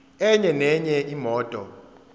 enye nenye imoto